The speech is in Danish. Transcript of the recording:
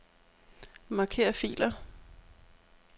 Marker filer.